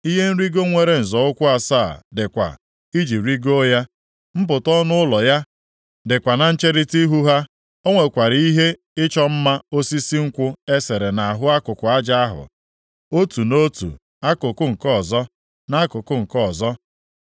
Ihe nrigo nwere nzọ ụkwụ asaa dịkwa iji rigoo ya, mpụta ọnụ ụlọ ya dịkwa na ncherita ihu ha, o nwekwara ihe ịchọ mma osisi nkwụ e sere nʼahụ akụkụ aja ahụ, otu nʼotu akụkụ, nke ọzọ nʼakụkụ nke ọzọ.